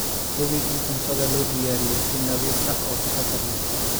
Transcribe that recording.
Hubi in cuntada loo diyaariyey si nadiif ah oo taxadar leh.